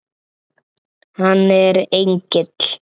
Hann er engill.